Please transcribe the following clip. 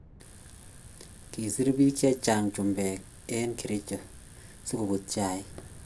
Kisir pik che chang chumbek en keericho si koput chaik